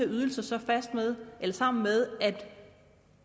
ydelser så sammen med